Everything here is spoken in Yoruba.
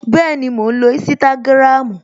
Bẹẹni, mò ń lo Instagram